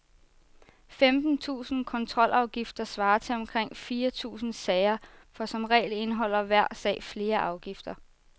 Femten tusinde kontrolafgifter svarer til omkring fire tusinde sager, for som regel indeholder hver sag flere afgifter.